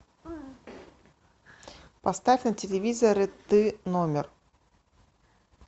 поставь на телевизоре ты номер